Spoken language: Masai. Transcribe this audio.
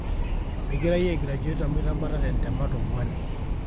migira iyie aigraduate amu itabatate ntemat onguan